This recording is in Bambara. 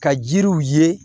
Ka jiriw ye